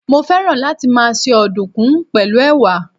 Mo féràn láti máa se ọ̀dùnkún pẹ̀lú Ẹ̀wà.